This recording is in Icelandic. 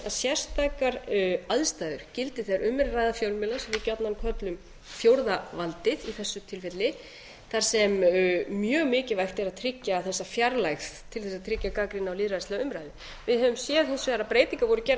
sérstakar aðstæður gildi þegar um er að ræða fjölmiðla sem við gjarnan köllum fjórða valdið í þessu tilfelli þar sem mjög mikilvægt er að tryggja þessa fjarlægð til þess að tryggja gagnrýni á lýðræðislega umræðu við höfum séð hins vegar að breytingar voru gerðar